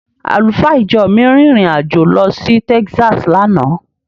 Àlùfáà ìjọ mi rin ìrìn- àjò lọ sí Taxas lánàá.